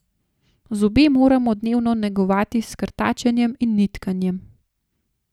Zobe moramo dnevno negovati s krtačenjem in nitkanjem.